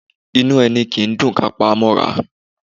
Inú ẹni kì í dùn kí a pa á mọ́ra